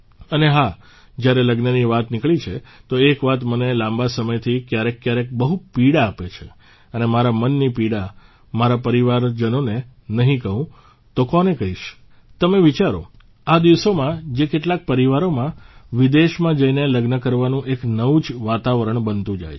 અને હા જયારે લગ્નની વાત નીકળી છે તો એક વાત મને લાંબા સમયથી ક્યારેકક્યારેક બહુ પીડા આપે છે અને મારા મનની પીડા મારા પરિવારજનોને નહીં કહું તો કોને કહીશ તમે વિચારો આ દિવસોમાં જે કેટલાક પરિવારોમાં વિદેશમાં જઇને લગ્ન કરવાનું એક નવું જ વાતાવરણ બનતું જાય છે